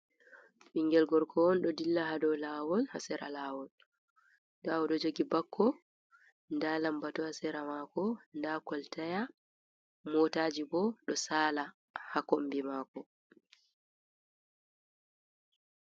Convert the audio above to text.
Ɓinngel gorgo on ɗo dilla haa dow laawol ,haa sera laawol .Ndaa o ɗo jogi bakko, ndaa lambatu haa sera maako ,ndaa koltaya motaaji bo ,ɗo saala haa kombi maako.